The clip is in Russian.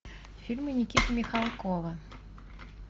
фильмы никиты михалкова